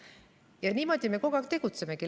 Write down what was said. Ja niimoodi me kogu aeg tegutsemegi.